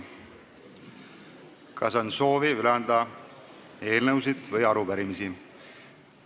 Kas on soovi anda üle eelnõusid või arupärimisi?